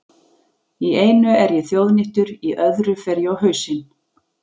Í einu er ég þjóðnýttur, í öðru fer ég á hausinn.